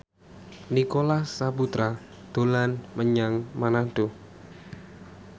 Nicholas Saputra dolan menyang Manado